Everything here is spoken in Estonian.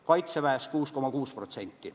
Kaitseväes kasvas palk 6,6%.